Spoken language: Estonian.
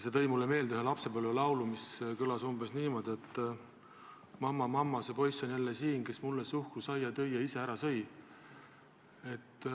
See tõi mulle meelde ühe lapsepõlvelaulu, mis kõlas umbes niimoodi: "Mamma-mamma, see poiss on jälle siin, kes mulle suhkrusaia tõi ja ise ära sõi.